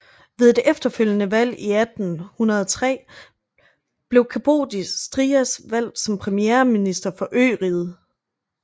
Ved et efterfølgende valg i 1803 blev Kapodistrias valgt som premierminister for øriget